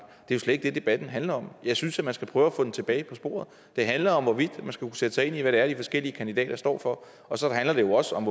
det er jo slet ikke det debatten handler om jeg synes at man skal prøve at få den tilbage på sporet det handler om hvorvidt man skal kunne sætte sig ind i hvad det er de forskellige kandidater står for og så handler det jo også om